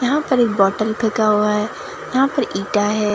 यहां पर एक बोतल फेंका हुआ हैं यहां पर ईटा है।